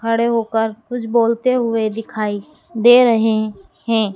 खड़े होकर कुछ बोलते हुए दिखाई दे रहे हैं।